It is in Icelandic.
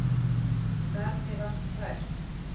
Gat mig vart hrært.